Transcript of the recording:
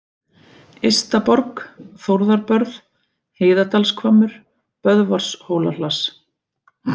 Ystaborg, Þórðarbörð, Heiðadalshvammur, Böðvarshólahlass